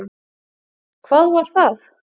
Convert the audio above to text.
Hvað var það?